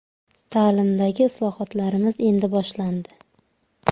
Ta’limdagi islohotlarimiz endi boshlandi.